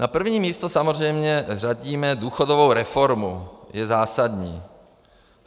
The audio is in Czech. Na první místo samozřejmě řadíme důchodovou reformu, je zásadní.